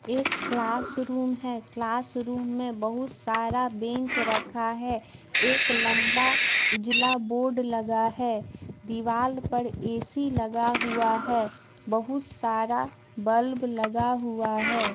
एक क्लासरूम हैं क्लासरूम में बहुत सारा बेंच रखा हैं एक लंबा उजला बोर्ड लगा हैं दीवाल पर ए_सी लगा हुआ हैं बहुत सारा बल्ब लगा हुआ हैं।